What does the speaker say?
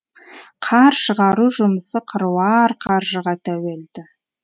қар шығару жұмысы қыруар қаржыға тәуелді